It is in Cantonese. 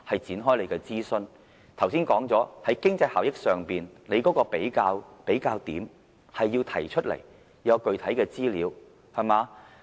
剛才指出了，在經濟效益上，它要提出一個比較點，要提供具體的資料。